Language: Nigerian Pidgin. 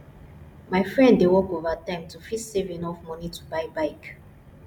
my friend dey work overtime to fit save enough money to buy bike